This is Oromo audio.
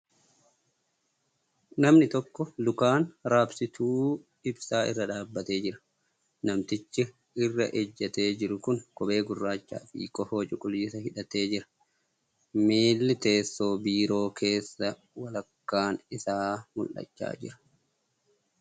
Namni tokko lukaan raabsituu ibsaa irra dhaabbatee jira . Namtichi irra ejjatee jiru kun kophee gurraacha fi kofoo cuquliisa hidhatee jira. Miilli teessoo biiroo keessaa walakkaan isaa mul'achaa jira .